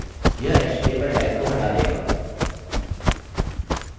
strip tags यह html tags को हटा देगा